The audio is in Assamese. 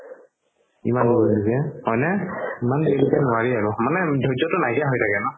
হয় নে ত্ৰিশ বছৰ নোৱাৰি আৰু মানে ধৰ্যতো নাইকিয়া হয় থাকে ন